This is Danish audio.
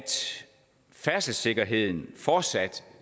færdselssikkerheden fortsat